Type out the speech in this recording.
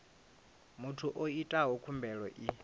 muthu o itaho khumbelo i